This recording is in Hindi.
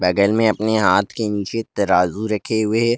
अगर मैं अपने हाथ के नीचे तराजू रखे हुए--